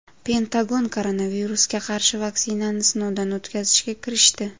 Pentagon koronavirusga qarshi vaksinani sinovdan o‘tkazishga kirishdi.